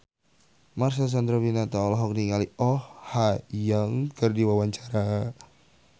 Marcel Chandrawinata olohok ningali Oh Ha Young keur diwawancara